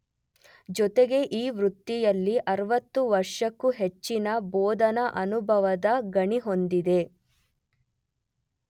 ಜೊತೆಗೆ ಈ ವೃತ್ತಿಯಲ್ಲಿ ೬೦ ವರ್ಷಕ್ಕೂ ಹೆಚ್ಚಿನ ಬೋಧನಾ ಅನುಭವದ ಗಣಿ ಹೊಂದಿದೆ.